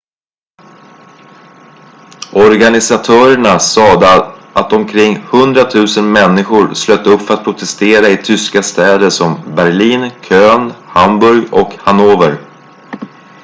organisatörerna sade att omkring 100 000 människor slöt upp för att protestera i tyska städer som berlin köln hamburg och hannover